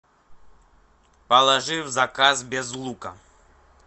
положи в заказ без лука